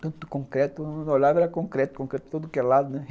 Tanto concreto, eu não olhava e era concreto, concreto de todo lado, né.